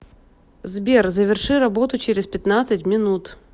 сбер заверши работу через пятнадцать минут